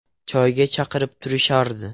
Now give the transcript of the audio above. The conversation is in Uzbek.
Choyga chaqirib turishardi.